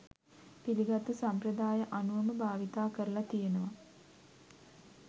පිළිගත්තු සම්ප්‍රදාය අනුවම භාවිත කරල තියෙනව